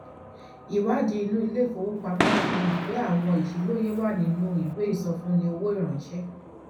ìwádìí inú ilé ìfowópamọ fi hàn pé àwọn àṣìlóye wà nínú ìwé ìsọfúnni owó ìránṣẹ